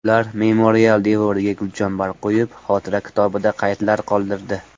Ular memorial devoriga gulchambar qo‘yib, xotira kitobida qaydlar qoldirdi.